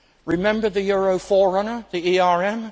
Remember the euro forerunner, the ERM?